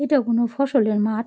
এইটা কোনো ফসল মাঠ।